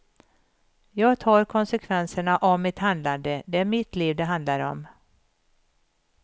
Jag tar konsekvenserna av mitt handlande, det är mitt liv det handlar om.